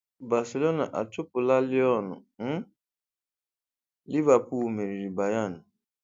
Barcelona achụpụla Lyon mm ⁇, Liverpool meriri Bayern